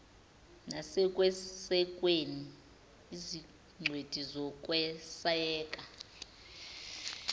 nasekwesekweni izingcweti zokweseka